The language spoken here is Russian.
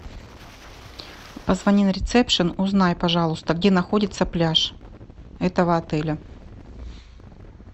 позвони на ресепшен узнай пожалуйста где находится пляж этого отеля